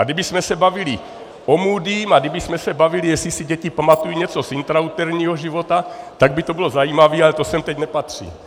A kdybychom se bavili o Moodym a kdybychom se bavili, jestli si děti pamatují něco z intrauterinního života, tak by to bylo zajímavé, ale to sem teď nepatří.